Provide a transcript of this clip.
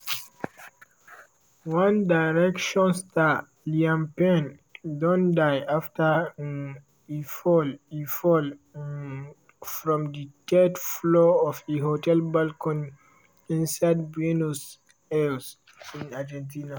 one direction star liam payne don die after um e fall e fall um from di third floor of a hotel balcony inside buenos aires argentina.